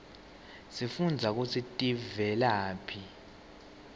sifundza kutsi tivelaphi